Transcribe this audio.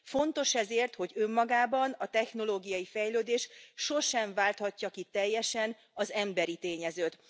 Fontos ezért, hogy önmagában a technológiai fejlődés sosem válthatja ki teljesen az emberi tényezőt.